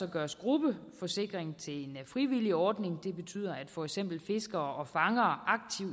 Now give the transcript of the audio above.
gøres gruppeforsikring til en frivillig ordning det betyder at for eksempel fiskere og fangere